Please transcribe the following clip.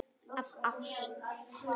Af ást.